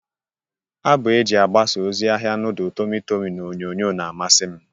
Abụ e ji agbasa ozi ahia nudul tọmị tọmị n'onyonyo na-amasị m.